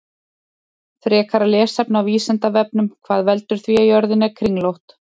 Frekara lesefni á Vísindavefnum: Hvað veldur því að jörðin er kringlótt?